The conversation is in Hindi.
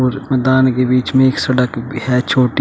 और मैदान के बीच में एक सड़क भी है छोटी।